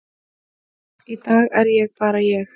í dag er ég bara ég.